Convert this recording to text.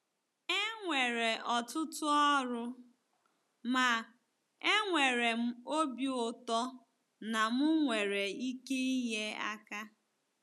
E nwere ọtụtụ ọrụ, ma enwere m obi ụtọ na m nwere ike inye aka.